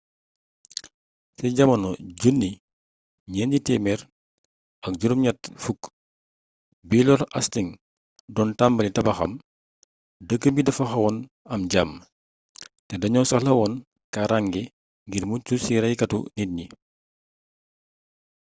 ci jamono 1480 bi lord hasting don tambali tabaxam dëkk bi dafa xawon am jàmm te dañoo soxlawon kaarànge ngir muccu si raykatu nit yi